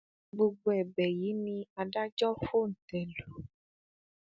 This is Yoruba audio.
gbogbo ẹbẹ yìí ni adájọ fòńté lù